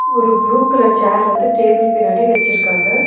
ஒரு blue colour chair வந்து table பின்னாடி வச்சிருக்காங்க.